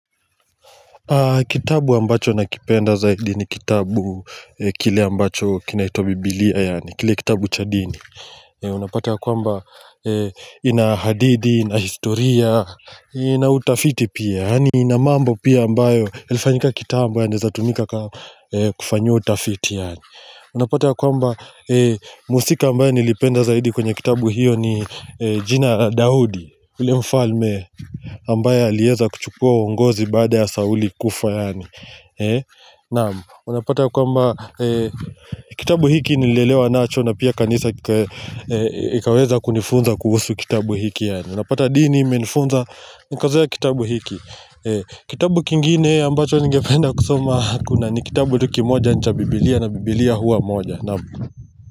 Kitabu ambacho nakipenda zaidi ni kitabu kile ambacho kinaitwa bibilia yaani kile kitabu cha dini. Unapata ya kwamba inahadidi, inahistoria, inautafiti pia yaani inamambo pia ambayo ilifanyika kitambo yanewezatumika kama kufanyiwa utafiti yaani. Unapata ya kwamba musika ambaye nilipenda zaidi kwenye kitabu hiyo ni jina Dahudi ule mfalme ambaye aliweza kuchukua uongozi baada ya Sauli kufa yaani naam, unapata kwamba. Kitabu hiki nilelewa nacho na pia kanisa ikaweza kunifunza kuhusu kitabu hiki yaani. Unapata dini menifunza nikazoeya kitabu hiki. Kitabu kingine ambacho ningependa kusoma hakuna ni kitabu tu kimoja ni cha biblia na biblia hua moja naam.